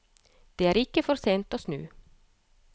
Det er ikke for sent å snu.